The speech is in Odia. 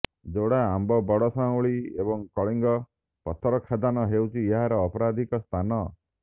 ଯୋଡ଼ା ଆମ୍ବ ବଡ଼ ସାଉଁଳି ଏବଂ କଳିଙ୍ଗ ପଥରଖାଦାନ ହେଉଛି ଏହାର ଅପରାଧିକ ସ୍ଥାନ